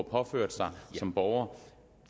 påført som borger